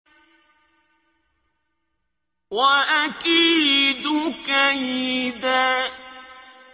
وَأَكِيدُ كَيْدًا